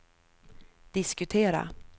diskutera